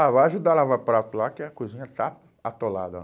Ah, vai ajudar a lavar prato lá, que a cozinha está atolada lá.